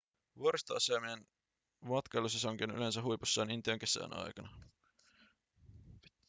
vuoristoasemien matkailusesonki on yleensä huipussaan intian kesän aikana